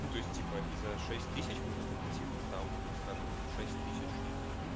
ну то есть типа и за шесть тысяч можно купить их там скажем в шесть тысяч штук